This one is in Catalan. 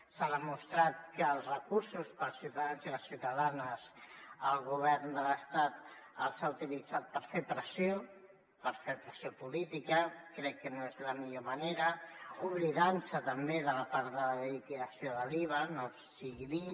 s’ha demostrat que els recursos per als ciutadans i les ciutadanes el govern de l’estat els ha utilitzat per fer pressió per fer pressió política crec que no és la millor manera i s’ha oblidat també de la part de la liquidació de l’iva no sigui dit